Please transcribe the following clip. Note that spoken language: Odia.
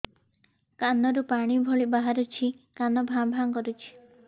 କାନ ରୁ ପାଣି ଭଳି ବାହାରୁଛି କାନ ଭାଁ ଭାଁ କରୁଛି